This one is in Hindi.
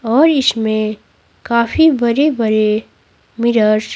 और इसमें काफी बड़े-बड़े मिरर्स --